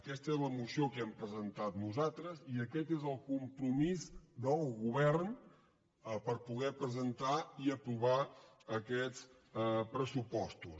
aquesta és la moció que hem presentat nosal·tres i aquest és el compromís del govern per poder presentar i aprovar aquests pressupostos